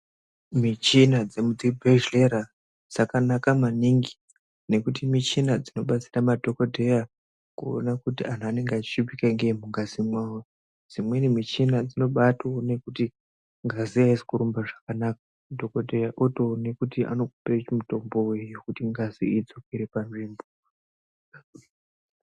Michina dzemudzibhehlera dzakanaka maningi nekuti michina dzinobatsira madhokodheya kuona kuti anhu anenge achishupika ngei mungazi mwavo. Dzimweni michina dzinobaatoone kuti ngazi haisi kurumba zvakanaka. Dhokoteya otoona kuti angakupa mutombo wei wekuti ngazi idzokere panzvimbo.